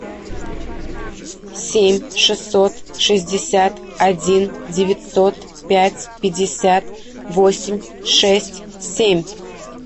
семь шестьсот шестьдесят один девятьсот пять пятьдесят восемь шесть семь